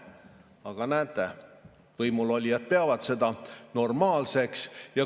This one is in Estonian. Aga näete, võimulolijad peavad seda normaalseks.